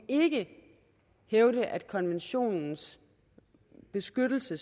hævde at konventionens beskyttelse